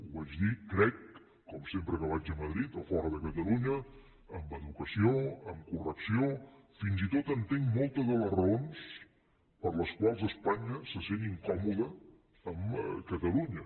ho vaig dir crec com sempre que vaig a madrid o a fora de catalunya amb educació amb correcció i fins i tot entenc moltes de les raons per les quals espanya se sent incòmoda amb catalunya